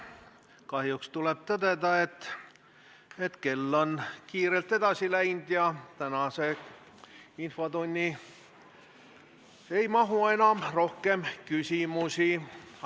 Kahjuks tuleb tõdeda, et kell on kiirelt edasi läinud ja tänasesse infotundi rohkem küsimusi ei mahu.